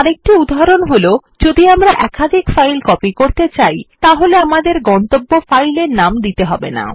আরেকটি উদাহরণ যখন আমরা একাধিক ফাইল কপি করতে হলে আমাদের গন্তব্য ফাইলের নাম দিতে হবে না